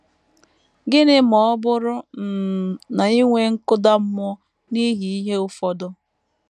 Gịnị ma ọ bụrụ um na i nwee nkụda mmụọ n’ihi ihe ụfọdụ?